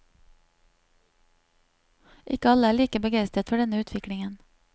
Ikke alle er like begeistret for denne utviklingen.